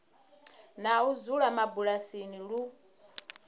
na u dzula mabulasini lu